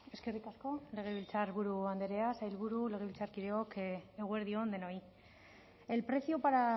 eskerrik asko legebiltzarburu andrea sailburuok legebiltzarkideok eguerdi on denoi el precio para